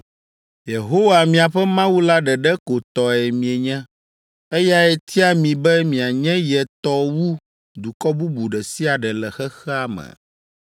Yehowa, miaƒe Mawu la ɖeɖe ko tɔe mienye. Eyae tia mi be mianye ye tɔ wu dukɔ bubu ɖe sia ɖe le xexea me.